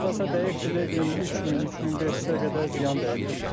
Hardasa dəyibdir, deyin 3000, 3500-ə qədər ziyan dəyibdir.